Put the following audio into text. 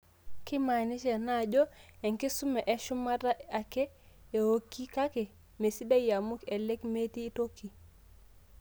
Keimaanisha ena ajo enkisuma eshumata ake eoiki, kake mesidia amu elek metii toki.